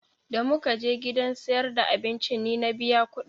Da mu ka je gidan siyar da abincin ni na biya ƙuɗin